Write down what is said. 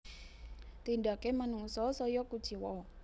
Tindake manungsa saya kuciwa